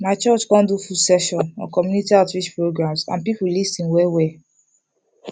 my church come do full session on community outreach programs and people lis ten well well